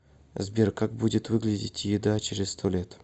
сбер как будет выглядеть еда через сто лет